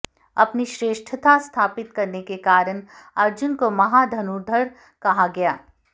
अपनी श्रेष्ठता स्थापित करने के कारण अर्जुन को महान धनुर्धर कहा गया